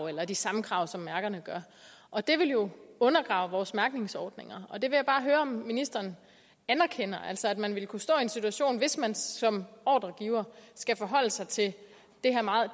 eller de samme krav som mærkerne gør og det vil jo undergrave vores mærkningsordninger jeg vil bare høre om ministeren anerkender det altså at man ville kunne stå i en situation hvis man som ordregiver skal forholde sig til